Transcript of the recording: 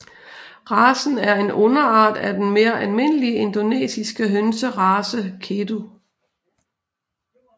Racen er en underart af den mere almindelige indonesiske hønserace Kedu